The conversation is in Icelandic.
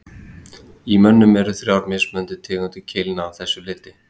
Í mönnum eru þrjár mismunandi tegundir keilna að þessu leyti.